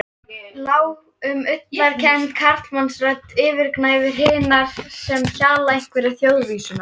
Lág og ullarkennd karlmannsrödd yfirgnæfir hinar sem hjala einhverja þjóðvísuna.